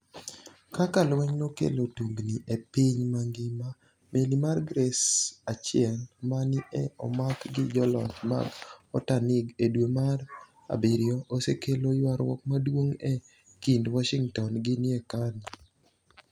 Kaka lweniyno nokelo tunignii e piniy manigima Meli mar Grace 1 ma ni e omak gi joloch mag Otanig e dwe mar abiryo, osekelo ywaruok maduonig ' e kinid Washinigtoni gi niaekani.